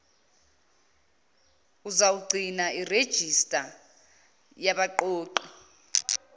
uzawugcina irejista yabaqoqi